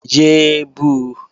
Yé é bu!